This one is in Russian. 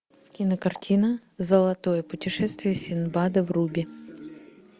кинокартина золотое путешествие синдбада вруби